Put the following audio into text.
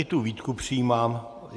I tu výtku přijímám.